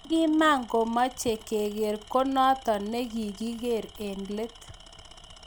Negimakomeche kekerer konoto ne kigikerer eng let